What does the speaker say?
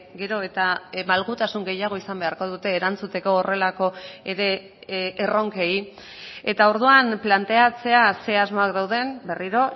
gero eta malgutasun gehiago izan beharko dute erantzuteko horrelako ere erronkei eta orduan planteatzea ze asmoak dauden berriro